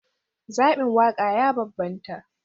Zabin waƙa ya bambanta.